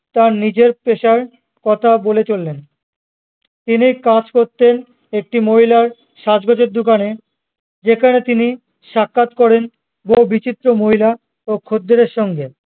তার নিজের পেশার কথা বলে চললেন তিনি কাজ করতেন একটি মহিলার সাজগোজের দোকানে যেখানে তিনি সাক্ষাৎ করেন বহু বিচিত্র মহিলা ও খদ্দের এর সঙ্গে